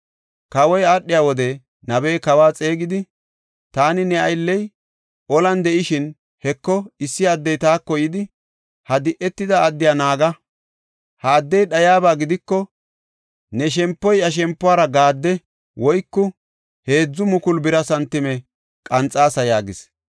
Kawoy aadhiya wode, nabey kawa xeegidi, “Taani ne aylley olan de7ishin, Heko, issi addey taako yidi, ‘Ha di7etida addiya naaga. Ha addey dhayiyaba gidiko, ne shempoy iya shempuwara gade woyko 3,000 bira santime qanxaasa’ yaagis.